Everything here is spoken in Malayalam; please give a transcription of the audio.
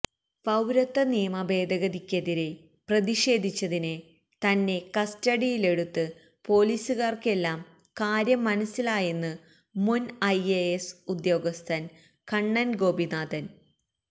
പൌരത്വ നിയമ ഭേദഗതിക്കെതിരെ പ്രതിഷേധിച്ചതിന് തന്നെ കസ്റ്റഡിയിലെടുത്ത് പൊലീസുകാര്ക്കെല്ലാം കാര്യം മനസ്സിലായെന്ന് മുന് ഐഎഎസ് ഉദ്യോഗസ്ഥന് കണ്ണന് ഗോപിനാഥന്